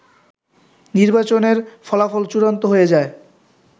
নির্বাচনের ফলাফল চূড়ান্ত হয়ে যায়